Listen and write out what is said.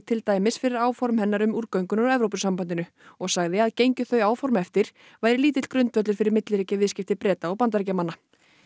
til dæmis fyrir áform hennar um úrgönguna úr Evrópusambandinu og sagði að gengju þau áform eftir væri lítill grundvöllur fyrir milliríkjaviðskipti Breta og Bandaríkjamanna